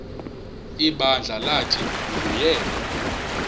ibandla lathi nguyena